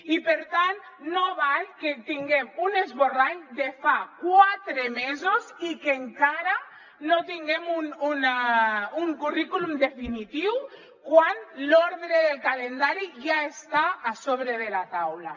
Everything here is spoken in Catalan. i per tant no val que tinguem un esborrany de fa quatre mesos i que encara no tinguem un currículum definitiu quan l’ordre del calendari ja està a sobre de la taula